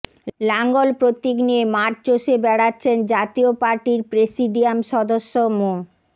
লাঙ্গল প্রতীক নিয়ে মাঠ চষে বেড়াচ্ছেন জাতীয় পার্টির প্রেসিডিয়াম সদস্য মো